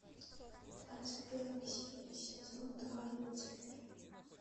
двадцать первая серия сезон два люцифер